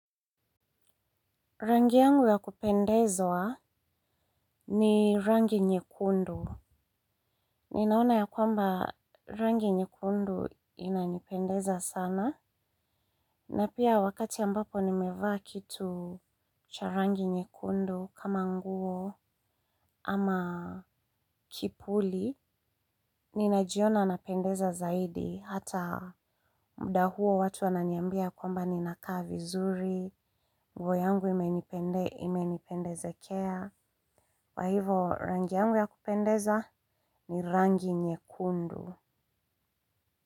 Rangi yangu ya kupendezwa ni rangi nyekundu. Ninaona ya kwamba rangi nyekundu inanipendeza sana. Na pia wakati ambapo nimevaa kitu cha rangi nyekundu kama nguo ama kipuli. Ninajiona na pendeza zaidi. Hata mda huo watu wananiambia kwamba ni nakaa vi zuri. Nguo yangu imenipendezekea. Kwa hivo rangi yangu ya kupendeza ni rangi nye kundu.